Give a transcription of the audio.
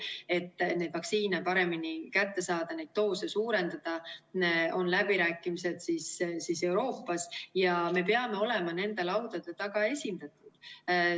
Et neid vaktsiine paremini kätte saada, neid doose suurendada, on läbirääkimised Euroopas, ja me peame olema nende laudade taga esindatud.